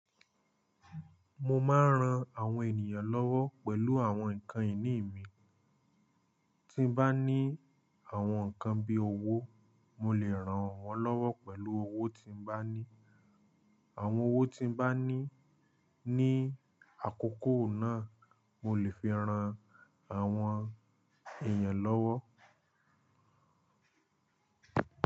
Mo máa ń ran àwọn ènìyàn lọ́wọ, pẹ̀lú àwọn ǹkan ìní mi. Tí bá ní, àwọn ǹkan bí i owó, mo lè ràn wọ́n lọ́wọ́ pẹ̀lú owó tí mo bá ní. Àwọn owó tí mo bá ní ní àkókò náà, mo lè fi ran àwọn èèyàn lọ́wọ́